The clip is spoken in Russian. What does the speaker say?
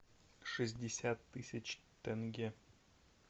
шестьдесят тысяч тенге